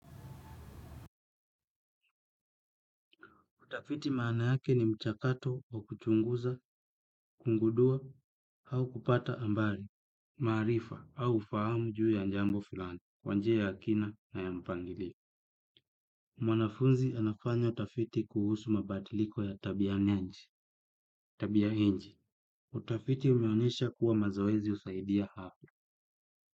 Utafiti maana yake ni mchakato wa kuchunguza, kungudua, hau kupata ambari, maarifa, au ufahamu juu ya njambo fulani, kwa njia ya kina na ya mpangili. Mwanafunzi anafanya tafiti ya tabia inje. Utafiti umeonyesha kuwa mazoezi husaidia hafu.